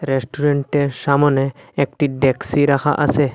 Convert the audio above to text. রেস্টুরেন্টের সামনে একটি ডেক্সি রাখা আছে।